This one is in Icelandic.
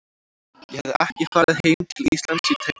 Ég hafði ekki farið heim til Íslands í tæp þrjú ár.